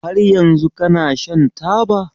Har yanzu kana shan taba?